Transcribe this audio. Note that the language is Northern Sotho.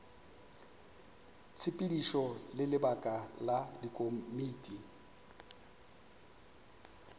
tshepedišo le lebaka la dikomiti